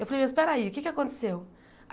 Eu falei, mas peraí, o que é que aconteceu?